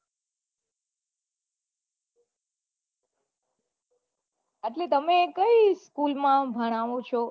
એટલે તમે કઈ school માં ભણાવો છો